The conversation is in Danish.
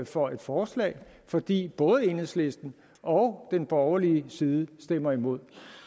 for et forslag fordi både enhedslisten og den borgerlige side stemmer imod